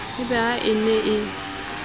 e be ha e ne